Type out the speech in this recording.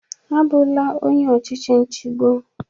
Abụla onye ọchịchị nchigbo!